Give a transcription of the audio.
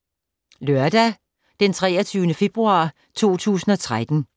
Lørdag d. 23. februar 2013